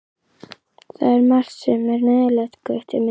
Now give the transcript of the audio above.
Það er margt sem er neyðarlegt, Gutti minn.